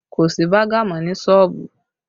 Kò sí baga mọ ní sọ́ọ̀bù